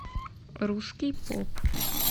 русский поп